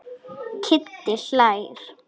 Kiddi hlær.